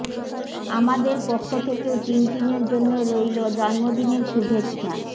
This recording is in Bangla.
আমাদের পক্ষ থেকেও টিনটিনের জন্য রইল জন্মদিনের শুভেচ্ছা